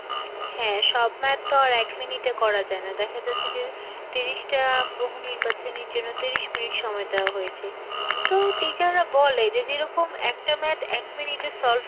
হ্যাঁ সব math তো আর এক minute এ করা যায় না, দেখা যাচ্ছে যে তিরিশটা বহু নির্বাচনের জন্য তিরিশ minute সময় দেওয়া হয়েছে. তো teacher রা বলে যে যেরকম একটা Math এক minute এ solve